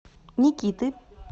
никиты